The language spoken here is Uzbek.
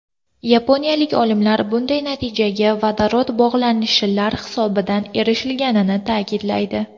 Yaponiyalik olimlar bunday natijaga vodorod bog‘lanishlar hisobidan erishilganligini ta’kidlaydi.